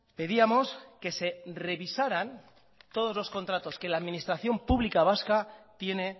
pedíamos que se revisaran todos los contratos que la administración pública vasca tiene